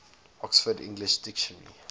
oxford english dictionary